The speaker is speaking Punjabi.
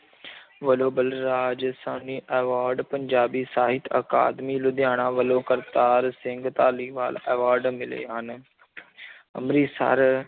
ਵੱਲੋਂ ਬਲਰਾਜ ਸਾਹਨੀ award ਪੰਜਾਬੀ ਸਾਹਿਤ ਅਕਾਦਮੀ ਲੁਧਿਆਣਾ ਵੱਲੋਂ ਕਰਤਾਰ ਸਿੰਘ ਧਾਲੀਵਾਲ award ਮਿਲੇ ਹਨ ਅੰਮ੍ਰਿਤਸਰ